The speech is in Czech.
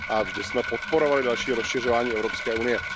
Vždy jsme podporovali další rozšiřování Evropské unie.